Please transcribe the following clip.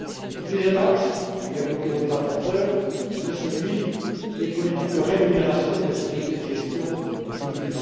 axe. Le deuxième axe qu'a évoqué votre rapporteur, c'est celui des politiques de rémunération des sociétés de gestion d'OPCVM.